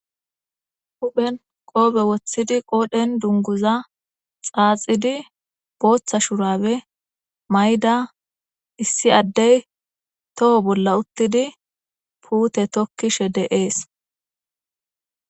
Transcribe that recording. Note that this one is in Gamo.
Huphen qoppe woththidi qodhen duniguza xaaaxid botha shurabe mayida issi adeyi too bola uttidi putte tokishshe dees